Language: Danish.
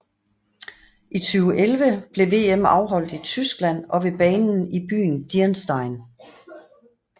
I 2011 blev VM afholdt i Tyskland i og ved banen i byen Dirmstein